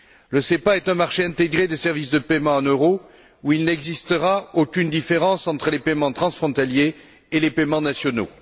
Le SEPA est un marché intégré des services de paiement en euros où il n'existera aucune différence entre les paiements transfrontaliers et les paiements nationaux.